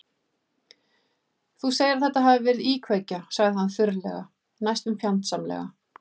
Þú segir að þetta hafi verið íkveikja- sagði hann þurrlega, næstum fjandsamlega.